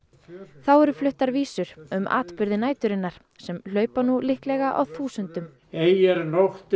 þá eru fluttar vísur um atburði næturinnar sem hlaupa nú líklega á þúsundum ei er nóttin